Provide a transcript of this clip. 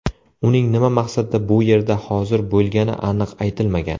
Uning nima maqsadda bu yerda hozir bo‘lgani aniq aytilmagan.